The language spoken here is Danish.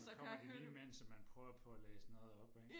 Og så kommer de lige mens at man prøver på at læse noget op ikke